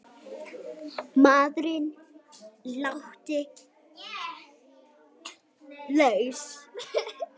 Maðurinn látinn laus